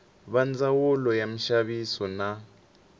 va ndzawulo ya minxaviso na